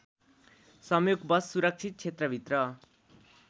संयोगवश सुरक्षित क्षेत्रभित्र